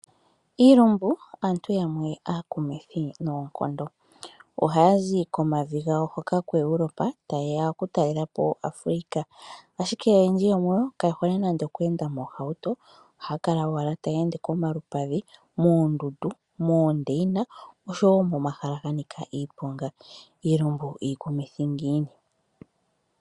Iilumbu aantu yamwe aakumithi noonkondo, ohaya zi komavi gawo hoka koEurope taye ya okutalela po Afrika. Ashike oyendji yomuyo kaye hole nande okuenda moohauto, ohaya kala owala taya ende komalupadhi moondundu, moondeyina oshowo momahala ga nika iiponga. Iilumbu iikumithi ngiini!